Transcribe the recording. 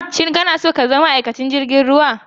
Shin ka na so ka zama ma'aikacin jirgin ruwa?